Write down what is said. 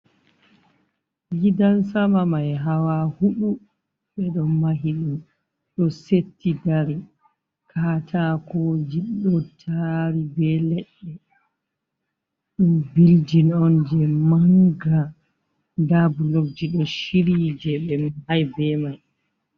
Gidan sama mai hawa huɗu ɓe ɗo mahi ɗum do setti dari, katakoji ɗo tari be leɗɗe, ɗum building on je manga nda bulokji ɗo shiryi je ɓe mahi be mai.